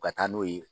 U ka taa n'u ye